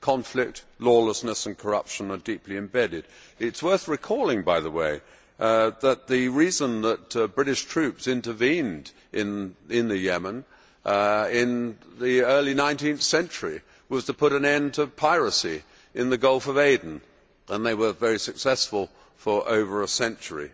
Conflict, lawlessness and corruption are deeply embedded. It is worth recalling, by the way, that the reason that British troops intervened in Yemen in the early 19th century was to put an end to piracy in the Gulf of Aden and they were very successful for over a century.